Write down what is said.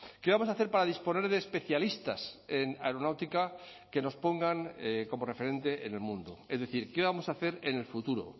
qué vamos a hacer para disponer de especialistas en aeronáutica que nos pongan como referente en el mundo es decir qué vamos a hacer en el futuro